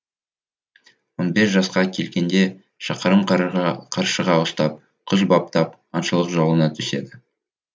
он бес жасқа келгенде шәкәрім қаршыға ұстап құс баптап аңшылық жолына түседі